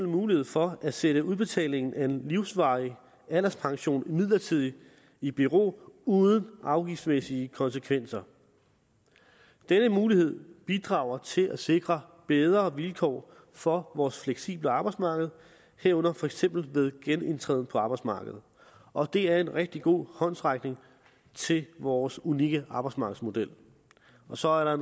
mulighed for at sætte udbetaling af en livsvarig alderspension midlertidigt i bero uden afgiftsmæssige konsekvenser denne mulighed bidrager til at sikre bedre vilkår for vores fleksible arbejdsmarked herunder for eksempel ved genindtræden på arbejdsmarkedet og det er en rigtig god håndsrækning til vores unikke arbejdsmarkedsmodel og så er der